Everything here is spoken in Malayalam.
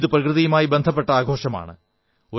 ഇത് പ്രകൃതിയുമായി ബന്ധപ്പെട്ട ആഘോഷമാണ്